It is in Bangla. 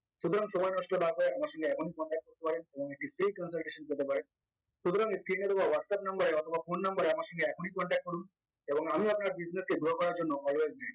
সুতরাং সময় নষ্ট না করে আমার সঙ্গে এখনই contact করতে পারেন এবং এটির pay consultation পেতে পারে সুতরাং whatsapp number এ অথবা phone number এ আমার সঙ্গে এখনই contact করুন এবং আমি আপনার business কে grow করার জন্য always ready